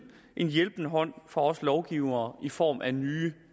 en hjælpende hånd fra os lovgivere i form af nye